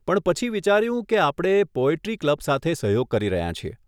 પણ પછી વિચાર્યું, કે આપણે પોએટ્રી ક્લબ સાથે સહયોગ કરી રહ્યાં છીએ.